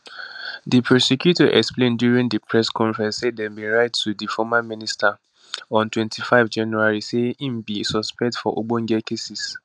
di prosecutor explain during di press conference say dem bin write to di former minister on 25 january say im be suspect for ogbonge cases